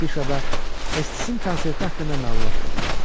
Afişada Etisin konserti haqqında məlumat verilirdi.